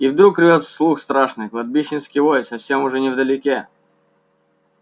и вдруг рвёт слух страшный кладбищенский вой совсем уже невдалеке